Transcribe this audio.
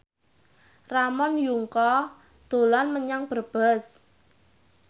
Ramon Yungka dolan menyang Brebes